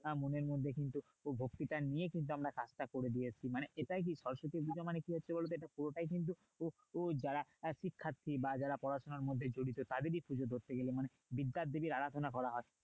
মনের মধ্যে কিন্তু ভক্তিটা নিয়েই কিন্তু কাজটা করে দিয়ে আসছি মানে এটাই কি সরস্বতী কি হচ্ছে বলতো কিন্তু এটা পুরোটাই কিন্তু school দ্বারা আহ শিক্ষার্থী বা যারা পড়াশোনার মধ্যে জড়িত তাদেরই মানে বিদ্যার দেবীর আরাধনা করা হয়